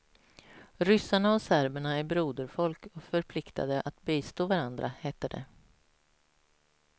Ryssarna och serberna är broderfolk och förpliktade att bistå varandra, hette det.